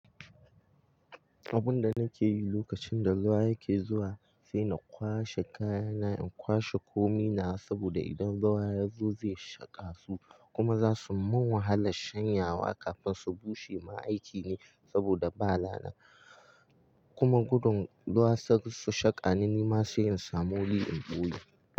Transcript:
Abin da nake yi lokacin da ruwa yake zuwa shine na kwashe kayana in kwashe komina saboda idan ruwa ya zo zai shaƙa su kuma za su mun wahalar shanyawa kafin su bushe. Ma'aikine saboda bala na kuma gudun ruwa suka shaƙa ni nima sai in samu wuri in ɓuye.